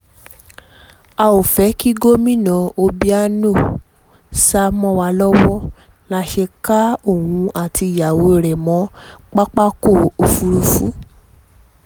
a ò fẹ́ kí gómìnà obiano sá lọ mọ́ wa lọ́wọ́ la ṣe ká òun àtìyàwó ẹ̀ mọ pápákọ̀ òfurufú